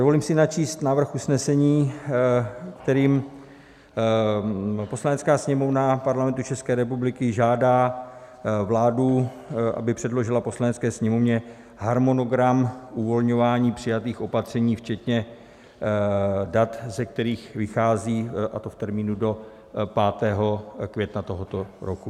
Dovolím si načíst návrh usnesení, kterým "Poslanecká sněmovna Parlamentu České republiky žádá vládu, aby předložila Poslanecké sněmovně harmonogram uvolňování přijatých opatření včetně dat, ze kterých vychází, a to v termínu do 5. května tohoto roku."